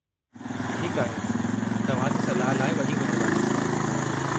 ठीकु आहे, तव्हां जी सलाह लाइ वॾी महिरबानी।